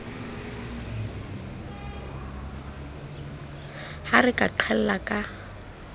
ha re ka qhella ka